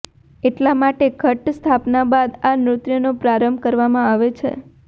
એટલા માટે ઘટ સ્થાપના બાદ આ નૃત્યનો પ્રારંભ કરવામાં આવે છે